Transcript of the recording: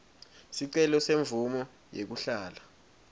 sicelo semvumo yekuhlala